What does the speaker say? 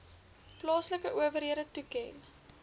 plaaslike owerhede toeken